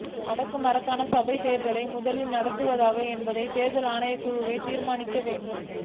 வடக்கு மாகாண சபைத் தேர்தலை முதலில் நடத்துவதா என்பதனை தேர்தல் ஆணைக்குழுவே தீர்மானிக்க வேண்டும்